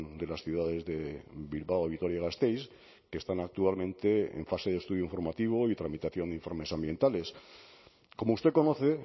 de las ciudades de bilbao a vitoria gasteiz que están actualmente en fase de estudio informativo y tramitación de informes ambientales como usted conoce